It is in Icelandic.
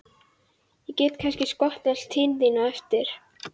Ég get kannski skotist til þín á eftir.